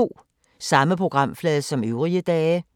Samme programflade som øvrige dage